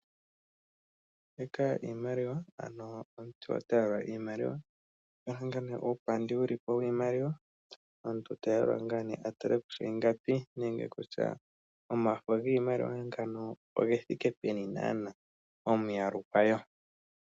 Mbika iimaliwa, ano omuntu ota yalula iimaliwa. Oku na uupandi wiimaliwa. Omuntu ta yalula ngaa nee a tale kutya ingapi, nenge kutya omafo giimaliwa mbino oge thike peni naanaa, omiyalu dhago.